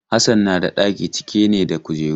Hassan na da ɗaki cike ne da kujeru.